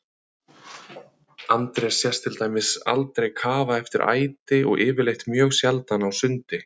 Andrés sést til dæmis aldrei kafa eftir æti og yfirleitt mjög sjaldan á sundi.